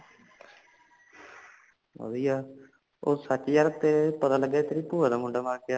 ਵਧੀਆ ਉਹ ਸੱਚ ਯਾਰ ਤੇ ਪਤਾ ਲੱਗਿਆ ਤੇਰੀ ਪੁਆ ਦਾ ਮੁੰਡਾ ਮਰ ਗਯਾ